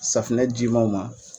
Safunɛ jimaw ma.